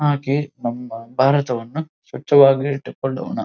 ಹಾಗೆ ನಮ್ಮ ಬಾರತವನ್ನು ಸ್ವಚ್ಛವಾಗಿ ಇಟ್ಟುಕೊಳ್ಳೋಣಾ.